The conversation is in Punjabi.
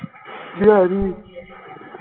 ਦਿਹਾੜੀ